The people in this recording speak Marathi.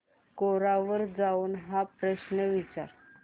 कोरा वर जाऊन हा प्रश्न विचार